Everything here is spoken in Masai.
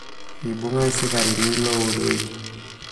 ibung irsikarini loureki